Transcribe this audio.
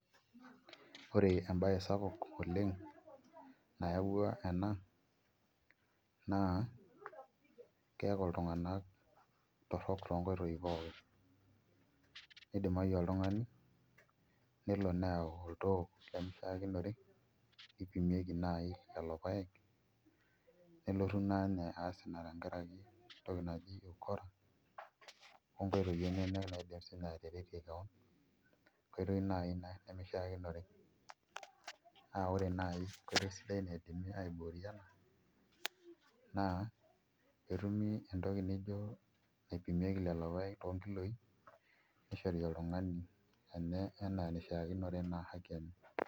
Ore embaye sapuk oleng' nayau ena naa keeku iltung'anak torrok toonkitoi pookin nidimayu oltung'ani nelo neyau oltoo lemishiakinore nipimieki naai lelo paek nelotu naa inye aas ina tenkaraki entoki naji ukora onkoitoi enyenak naaidim siinye ataretie keon enkoitoi naai ina nemishiakinore naa ore naai enkoitoi sidai naidimi aiboorie ena naa pee etumi naai entoki naipimieki lelo paek toonkilooi nishori oltung'ani enaa enishiakinore naa haki enye.